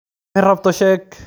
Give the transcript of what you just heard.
Wixi rabto sheego.